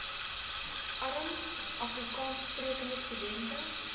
arm afrikaanssprekende studente